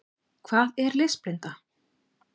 Hvað er lesblinda?